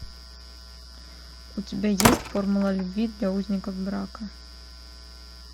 у тебя есть формула любви для узников брака